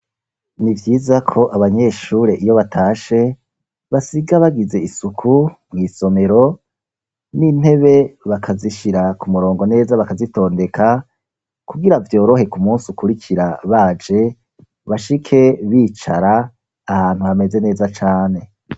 Nivyiza ko abanyeshure iyo batashe, basiga bagize isuku mw'isomero, n'intebe bakazishira kumurongo neza, bakazitondeka kugira vyorohe k'umunsi ukurikira, baje bashike bicara ahantu hameze neza cane.